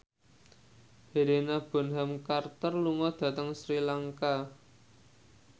Helena Bonham Carter lunga dhateng Sri Lanka